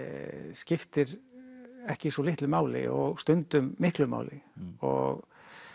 skiptir ekki svo litlu máli og stundum miklu máli og